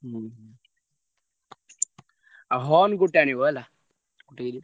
ହୁଁ ଆଉ ଗୋଟେ ଆଣିବ ହେଲା। ଠିକ ଅଛି।